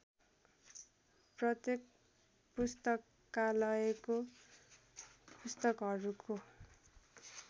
प्रत्येक पुस्तकालयको पुस्तकहरुको